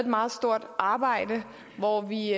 meget stort arbejde hvor vi